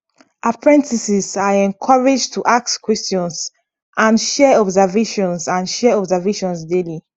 apprentices are encouraged to ask questions and share observations and share observations daily